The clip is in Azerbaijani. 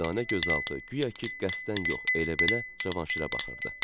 Düdanə gözaltı guya ki qəsdən yox, elə bil Cavanşirə baxırdı.